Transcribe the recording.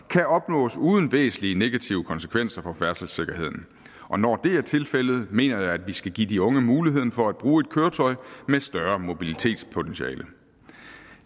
kan opnås uden væsentlige negative konsekvenser for færdselssikkerheden og når det er tilfældet mener jeg at vi skal give de unge muligheden for at bruge et køretøj med større mobilitetspotentiale